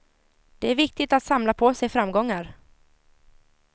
Det är viktigt att samla på sig framgångar.